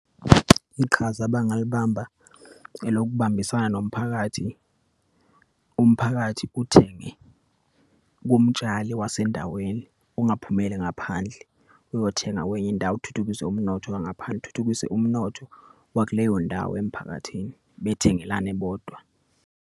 Iqhaza abangalibamba elokubambisana nomphakathi. Umphakathi uthenge kumtshali wasendaweni, ungaphumeli ngaphandle uyothenga kwenye indawo, uthuthukise umnotho wangaphandle, uthuthukise umnotho wakuleyondawo emphakathini. Bethengelane bodwa.